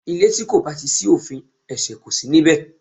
Ilè tí kò bá ti sí òfin, ẹ̀sẹ̀ kò si níbẹ̀